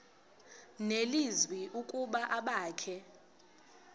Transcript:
nelizwi ukuba abakhe